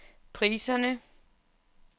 priserne